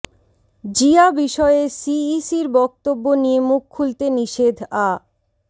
জিয়া বিষয়ে সিইসির বক্তব্য নিয়ে মুখ খুলতে নিষেধ আ